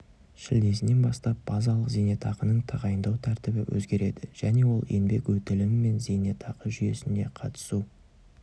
шілдесінен бастап базалық зейнетақының тағайындау тәртібі өзгереді және ол еңбек өтілі мен зейнетақы жүйесінде қатысу